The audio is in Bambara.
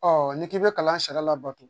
n'i k'i bɛ kalan sariya labato